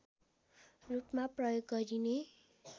रूपमा प्रयोग गरिने